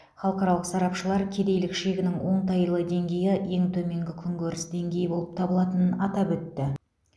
халықаралық сарапшылар кедейлік шегінің оңтайлы деңгейі ең төменгі күнкөріс деңгейі болып табылатынын атап өтті